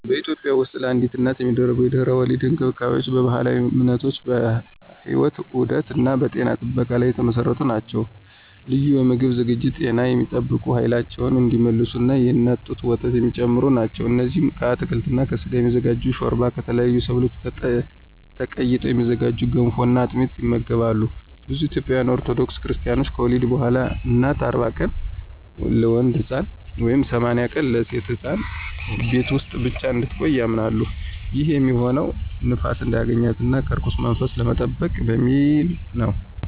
በኢትዮጵያ ውስጥለአዲስ እናት የሚደረጉ የድህረ-ወሊድ እንክብካቤዎች በባህላዊ እምነቶች፣ በሕይወት ዑደት እና በጤና ጥበቃ ላይ የተመሰረቱ ናቸው። ልዩ የምግብ ዝግጅቶች ጤናን የሚጠብቁ፣ ኃይላቸውን እንዲመልሱ እና የእናት ጡት ወተት የሚጨምሩ ናቸው። እነዚህም ከአትክልት እና ከስጋ የሚዘጋጅ ሾርባ፣ ከተለያዩ ሰብሎች ተቀይጠው የሚዘጋጁ ገንፎ እና አጥሚት ይመገባሉ። ብዙ ኢትዮጵያውያን ኦርቶዶክስ ክርስታኖች ከወሊድ በኋላ እናት 40 ቀናት (ለወንድ ሕፃን) ወይም 80 ቀናት (ለሴት ሕፃን) ቤት ውስጥ ብቻ እንድትቆይ ያምናሉ። ይህም የሚሆነው ንፋስ እንዳያገኛት እና ከርኩስ መንፈስ ለመጠበቅ በሚል ነው።